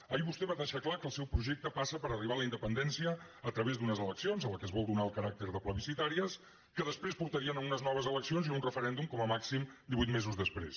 ahir vostè va deixar clar que el seu projecte passa per arribar a la independència a través d’unes eleccions a les quals es vol donar el caràcter de plebiscitàries que després portarien a unes noves eleccions i a un referèndum com a màxim divuit mesos després